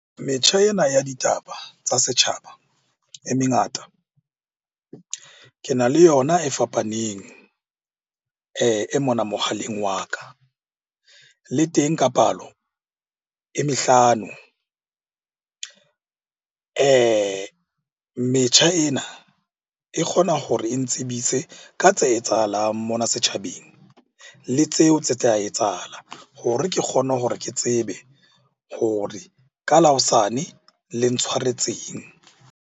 Metjha ena ya ditaba tsa setjhaba e mengata. Ke na le yona e fapaneng mona mohaleng wa ka. Le teng ka palo e mehlano. Metjha ena e kgona hore e ntsebise ka tse etsahalang mona setjhabeng, le tseo tse tla etsahala hore ke kgone hore ke tsebe hore ka la hosane le ntshwaretseng.